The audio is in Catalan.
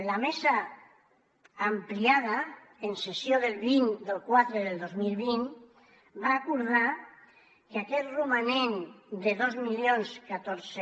la mesa ampliada en sessió del vint del iv del dos mil vint va acordar que aquest romanent de dos mil catorze